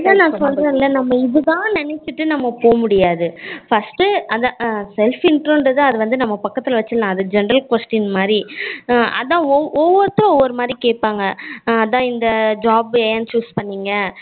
இல்ல இல்ல நா சொல்லுறது இதுதான்னூ நம்ம நினசீட்டு நம்ம போக முடியாது first அத self intro தான் அத நம்ம பக்கதுல வச்சிரனூம் அது வந்து general question மாதிரி அஹ் ஒவ்வொருதர் ஒவ்வொரு மாதிரி கேப்பாங்கா அஹ் அதான் இந்த job என் choose பன்னிங்க